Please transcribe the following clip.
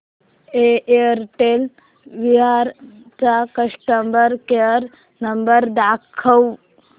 Airtel Virar चा customer care number दाखव